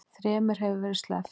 Þremur hefur verið sleppt